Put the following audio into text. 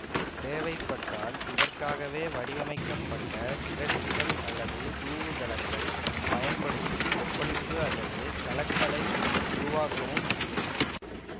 தேவைப்பட்டால் இதற்காகவே வடிவமைக்கப்பட்ட சிதற்றிகள் அல்லது தூவுகலன்கள் பயன்படுத்தி கொப்பளிப்பு அல்லது கலக்கலை உருவாக்கவும் முடியும்